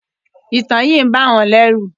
Ìtàn yí ń bá wón lérù.